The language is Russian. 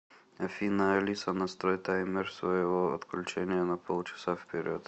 афина алиса настрой таймер своего отключения на пол часа вперед